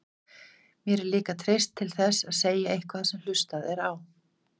Mér er líka treyst til þess að segja eitthvað sem hlustað er á.